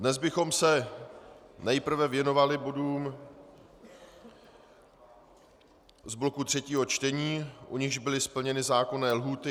Dnes bychom se nejprve věnovali bodům z bloku třetího čtení, u nichž byly splněny zákonné lhůty.